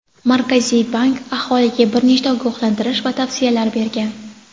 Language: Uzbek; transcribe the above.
Markaziy bank aholiga bir nechta ogohlantirish va tavsiyalar bergan.